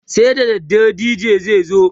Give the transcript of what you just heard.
sai da dare DJ zai zo